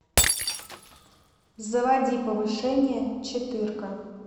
заводи повышение четырка